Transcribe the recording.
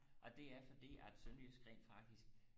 og det er fordi at sønderjysk rent faktisk